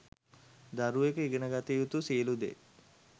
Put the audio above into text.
දරුවකු ඉගෙන ගත යුතු සියලු දේ